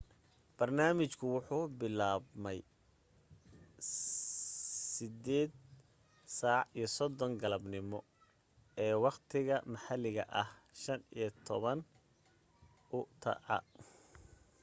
barnaamijku waxa uu bilaabmay 8:30 galabnimo ee waqtiga maxalliga ah 15:00 utc